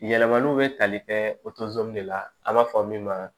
Yɛlɛmaliw bɛ tali kɛ o de la an b'a fɔ min ma